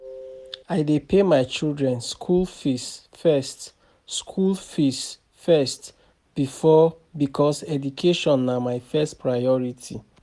I dey pay my children skool fees first skool fees first because education na my first priority.